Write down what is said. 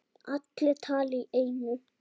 Allir tala í einu.